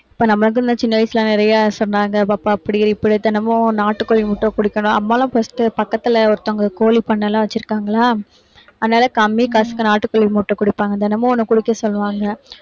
இப்ப நமக்கும் இந்த சின்ன வயசுல, நிறைய சொன்னாங்க. பாப்பா தினமும் நாட்டுக்கோழி முட்டை குடிக்கணும். அம்மா எல்லாம் first பக்கத்துல ஒருத்தவங்க கோழி பண்ணை எல்லாம் வச்சிருக்காங்களா அதனால கம்மிகாசுக்கு நாட்டுக்கோழி முட்டை குடிப்பாங்க. தினமும் ஒண்ணு குடிக்க சொல்லுவாங்க.